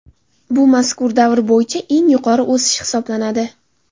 Bu mazkur davr bo‘yicha eng yuqori o‘sish hisoblanadi.